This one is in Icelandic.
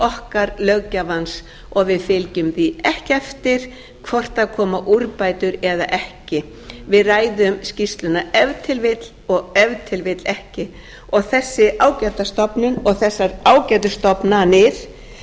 okkar löggjafans og við fylgjum því ekki eftir hvort það koma úrbætur eða ekki við ræðum skýrsluna ef til vill og ef til vill ekki og þessi ágæta stofnun og þessar ágætu stofnanir vita